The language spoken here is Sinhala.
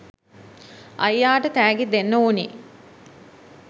අයියාට තෑගි දෙන්න ඕනෙ.